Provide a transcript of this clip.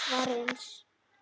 svarsins.